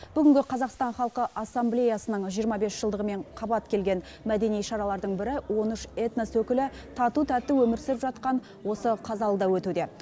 бүгінгі қазақстан халқы ассамблеясының жиырма бес жылдығымен қабат келген мәдени шаралардың бірі он үш этнос өкілі тату тәтті өмір сүріп жатқан осы қазалыда өтуде